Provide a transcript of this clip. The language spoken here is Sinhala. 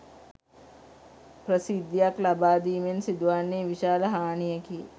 ප්‍රසිද්ධියක් ලබාදීමෙන් සිදුවන්නේ විශාල හානියකි